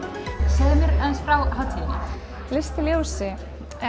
segðu mér aðeins frá hátíðinni list í ljósi